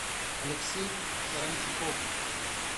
алексей саранчуков